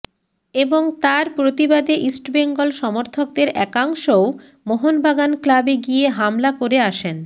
এবং তার প্রতিবাদে ইস্টবেঙ্গল সমর্থকদের একাংশও মোহনবাগান ক্লাবে গিয়ে হামলা করে আসেন